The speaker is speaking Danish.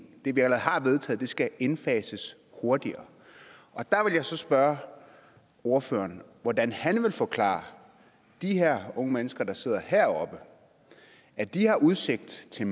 det vi allerede har vedtaget skal indfases hurtigere og der vil jeg så spørge ordføreren hvordan han vil forklare de unge mennesker der sidder heroppe at de har udsigt til